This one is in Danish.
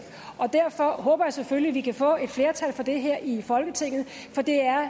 og derfor håber jeg selvfølgelig at vi kan få et flertal for det her i folketinget det er